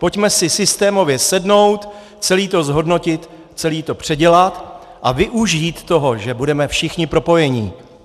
Pojďme si systémově sednout, celé to zhodnotit, celé to předělat a využít toho, že budeme všichni propojení.